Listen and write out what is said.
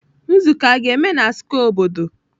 Nzuko a ga-eme na square obodo?